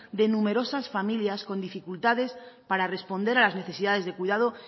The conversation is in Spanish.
de numerosas familias con dificultades para responder a las necesidades de cuidado